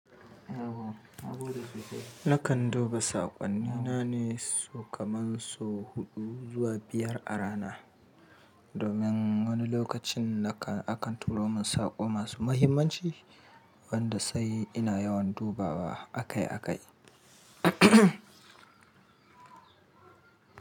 Nakan duba saƙonnina ne, sau kaman, so huɗu zuwa biyar a rana. Domin wani lokacin akan turo min saƙo masu muhimmanci wanda sai ina yawan dubawa akai-akai.